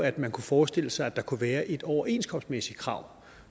at man kunne forestille sig at der kunne være et overenskomstmæssigt krav